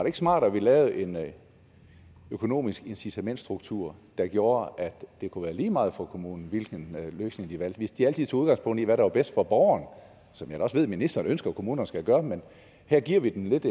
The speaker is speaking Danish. ikke smartere at vi lavede en økonomisk incitamentsstruktur der gjorde at det kunne være lige meget for kommunen hvilken løsning de valgte hvis de altid tog udgangspunkt i hvad der er bedst for borgeren som jeg da også ved ministeren ønsker kommunerne skal gøre men her giver vi dem lidt